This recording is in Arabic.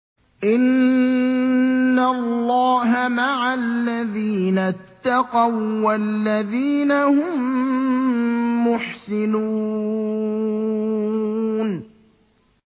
إِنَّ اللَّهَ مَعَ الَّذِينَ اتَّقَوا وَّالَّذِينَ هُم مُّحْسِنُونَ